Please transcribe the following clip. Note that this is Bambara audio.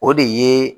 O de ye